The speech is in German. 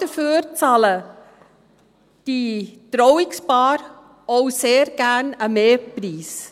Dafür bezahlen die Trauungspaare auch sehr gerne einen Mehrpreis.